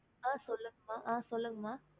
mam அ சொல்லுங்க ம